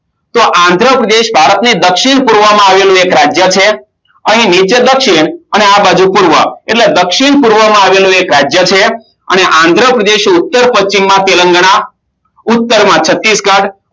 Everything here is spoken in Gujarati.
તો આંધ્રપ્રદેશ ભારતની દક્ષિણ પૂર્વમાં આવેલી એક રાજ્ય છે અને નિત્ય દક્ષિણ અને આ બાજુ પૂર્વ એટલે દક્ષિણે પૂર્વ માં આવેલું એક રાજ્ય છે અને આંધ્રપ્રદેશ એ ઉત્તરપશ્ચિમ